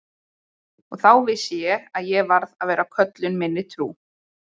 Og þá vissi ég að ég varð að vera köllun minni trú.